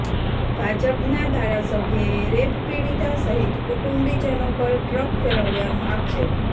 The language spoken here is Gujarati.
ભાજપના ધારાસભ્યએ રેપ પીડિતા સહિત કુટુંબીજનો પર ટ્રક ફેરવ્યાનો આક્ષેપ